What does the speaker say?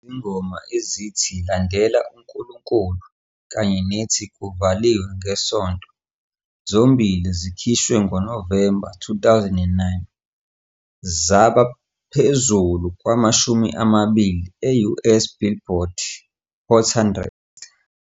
Izingoma ezithi " Landela uNkulunkulu " kanye nethi " Kuvaliwe ngeSonto " zombili zikhishwe ngoNovemba 2019, zaba phezulu kwama-20 e-US Billboard Hot 100.